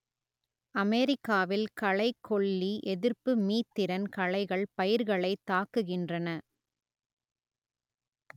அமெரிக்காவில் களைக்கொல்லி எதிர்ப்பு மீத்திறன் களைகள் பயிர்களைத் தாக்குகின்றன